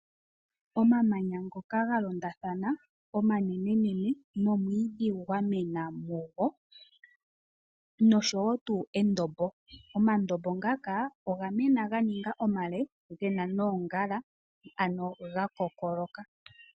Omamanya ngoka oga longathana omanene nene nomwiidhi gwa mwena mugo noshowo tuu endombo. Omandombo ngaka oga mena ga ninga omale gena noongala ano ga koka ga piitilila.